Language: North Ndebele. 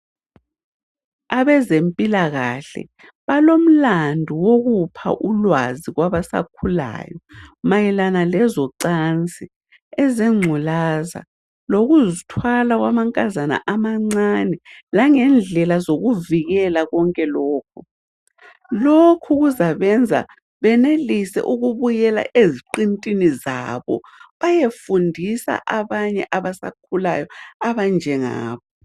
Abezempilakahle balomlandu wokupha ulwazi kwabasakhulayo mayelana lezocansi, ezengculaza lokuzithwala kwamankazana amancane, langendlela zokuvikela konke lokhu. Lokhu kuzabenza benelise ukubuyela eziqintini zabo bayefundisa abanye abasakhulayo abanjengabo.